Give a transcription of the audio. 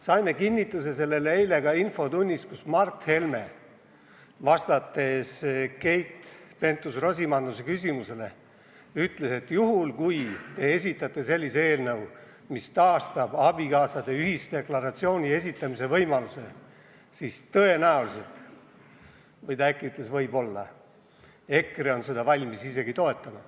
Saime kinnituse sellele ka eile infotunnis, kus Mart Helme ütles Keit Pentus-Rosimannuse küsimusele vastates, et kui te esitate sellise eelnõu, mis taastab abikaasade ühisdeklaratsiooni esitamise võimaluse, siis tõenäoliselt – või ta äkki ütles "võib-olla" – EKRE on valmis seda toetama.